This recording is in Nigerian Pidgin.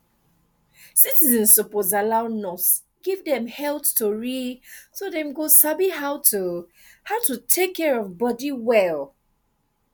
citizens suppose allow nurse give dem health tori so dem go sabi how to how to take care of body well